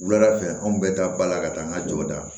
Wulada fɛ an bɛɛ da ba la ka taa an ka jɔw da